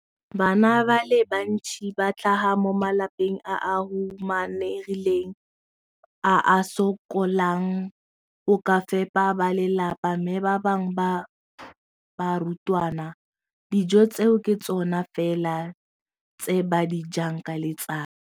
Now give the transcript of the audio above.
Bana ba le bantsi ba tlhaga mo malapeng a a humanegileng a a sokolang go ka fepa ba lelapa mme ba bangwe ba barutwana, dijo tseo ke tsona fela tse ba di jang ka letsatsi.